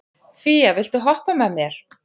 Fía, viltu hoppa með mér?